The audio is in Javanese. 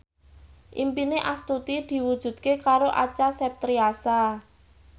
impine Astuti diwujudke karo Acha Septriasa